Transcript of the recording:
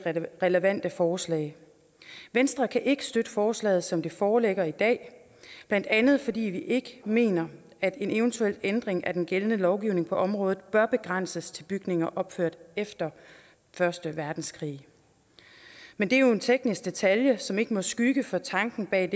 relevante forslag venstre kan ikke støtte forslaget som det foreligger i dag blandt andet fordi vi ikke mener at en eventuel ændring af den gældende lovgivning på området bør begrænses til bygninger opført efter første verdenskrig men det er jo en teknisk detalje som ikke må skygge for tanken bag